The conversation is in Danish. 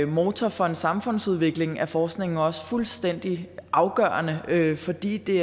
motor for en samfundsudvikling er forskningen også fuldstændig afgørende fordi det